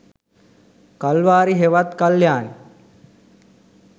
කල්වාරි හෙවත් කල්යාණි